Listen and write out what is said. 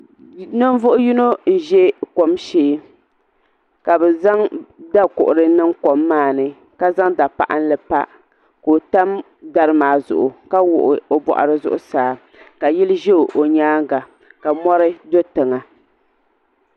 Ninvuɣ'yino n-ʒe kom shee ka bɛ zaŋ dakuɣiri niŋ kom maa ni ka zaŋ dapaɣinli pa ka o tam dari maa zuɣu ka wuɣi o bɔɣiri zuɣusaa ka yili ʒe o nyaaŋa ka mɔri do tiŋa.